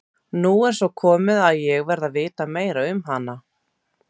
Nú er svo komið að ég verð að vita meira um hana.